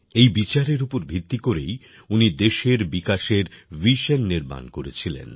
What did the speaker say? এই বিচারের উপর ভিত্তি করেই উনি দেশের বিকাশের ভিশন নির্মাণ করেছিলেন